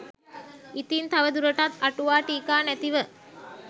ඉතින් තව දුරටත් අ‍ටුවා ටීකා නැතිව